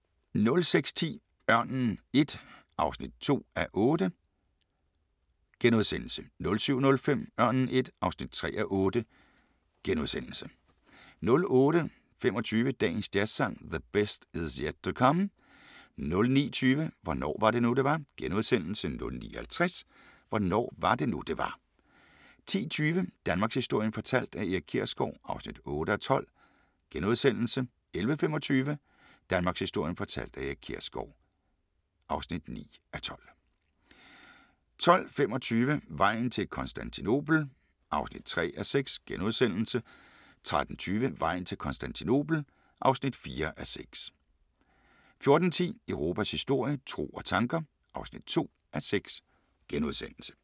06:10: Ørnen I (2:8)* 07:05: Ørnen I (3:8)* 08:25: Dagens Jazzsang: The Best Is Yet to Come 09:20: Hvornår var det nu det var * 09:50: Hvornår var det nu det var 10:20: Danmarkshistorien fortalt af Erik Kjersgaard (8:12)* 11:25: Danmarkshistorien fortalt af Erik Kjersgaard (9:12) 12:25: Vejen til Konstantinopel (3:6)* 13:20: Vejen til Konstantinopel (4:6) 14:10: Europas historie – tro og tanker (2:6)*